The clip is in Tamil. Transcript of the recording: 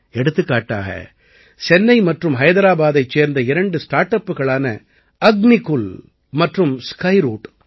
எடுத்துக்காட்டாக சென்னை மற்றும் ஹைதராபாதைச் சேர்ந்த இரண்டு ஸ்டார்ட் அப்புகளான அக்னிகுல் மற்றும் ஸ்கைரூட்